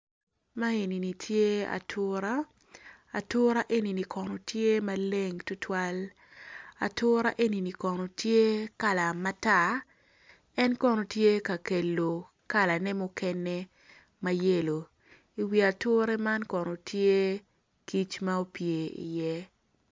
Man enini tye atura, atura enini kono tye maleng tutwal, atura enini kono tye kala matar, en kono tye ka kelo kala ne mayelo i ature man kono tye kic ma opye i ye.